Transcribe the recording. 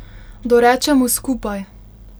Dorečemo skupaj.